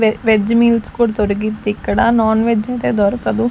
వె veg meals కూడా దొరుకుద్దిక్కడ నాన్ వెజ్ అయితే దొరకదు.